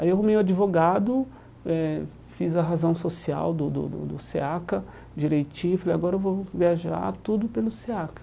Aí eu meio advogado eh, fiz a razão social do do do do SEACA, direitinho, falei, agora eu vou viajar tudo pelo SEACA.